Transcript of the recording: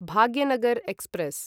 Bhagyanagar express